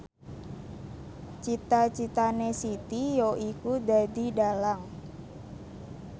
cita citane Siti yaiku dadi dhalang